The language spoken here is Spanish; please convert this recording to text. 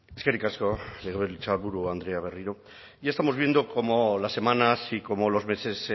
eskerrik asko legebiltzarburu andrea berriro ya estamos viendo cómo las semanas y como los meses